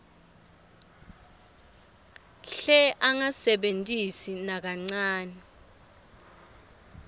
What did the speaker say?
hle angasebentisi nakancane